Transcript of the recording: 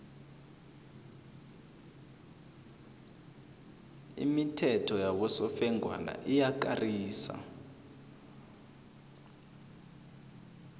imithetho yabosofengwana iyakarisa